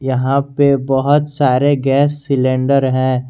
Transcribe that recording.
यहां पे बहोत सारे गैस सिलेंडर हैं।